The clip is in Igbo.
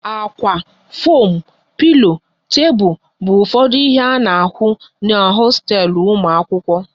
Ákwá, foam, pilo, tebụl bụ ụfọdụ ihe a na-ahụ n'hosteelu ụmụ akwụkwọ